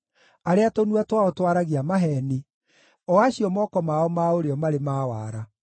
arĩa tũnua twao twaragia maheeni, o acio moko mao ma ũrĩo marĩ na wara.